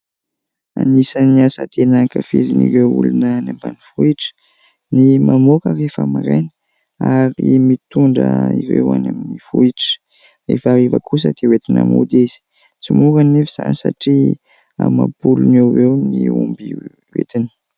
Anisan'ny asa tena hankafizin' ireo olona any ambanivohitra ny mamoaka rehefa maraina ary ny mitondra ireo any amin'ny vohitra; rehefa hariva kosa dia entina mody izy; tsy mora anefa izany satria amam-polony eo ho eo ny omby entiny.